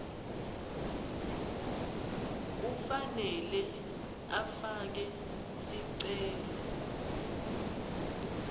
ufanele afake sicelo